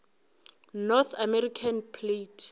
north american plate